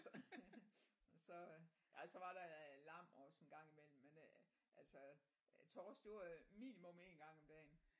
Så så øh ja så var der lam også en gang i mellem man øh altså torsk det var minimum én gang om dagen